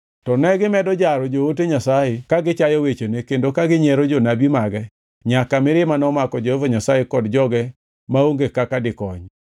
To negimedo jaro joote Nyasaye ka gichayo wechene kendo ka ginyiero jonabi mage nyaka mirima nomako Jehova Nyasaye kod joge maonge kaka dikony.